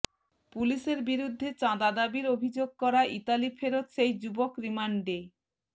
পুলিশের বিরুদ্ধে চাঁদা দাবির অভিযোগ করা ইতালিফেরত সেই যুবক রিমান্ডে